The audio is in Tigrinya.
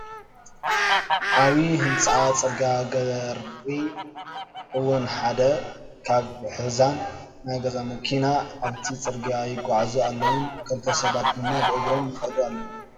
ዓቡይ ህነፃን ፅርግያን ገሪ እውን ሓደ ከብ ሒዛን ናይ ገዛ መኪናን ኣብቲ ፅርግያ ይጓዓዙ ኣለውን ክልተ ሰባት ድማ ብእግሮም ይከዱ ኣለው።